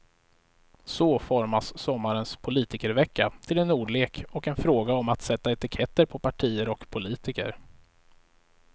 Så formas sommarens politikervecka till en ordlek och en fråga om att sätta etiketter på partier och politiker.